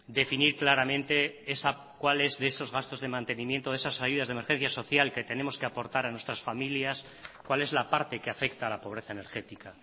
definir claramente cuáles de esos gastos de mantenimiento de esas ayudas de emergencia social que tenemos que aportar a nuestras familias cuál es la parte que afecta a la pobreza energética